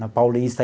na Paulista.